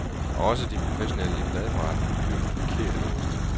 Også de professionelle i pladeforretningerne køber forkert ind.